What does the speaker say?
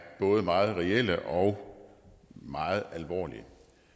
både meget reelle og meget alvorlige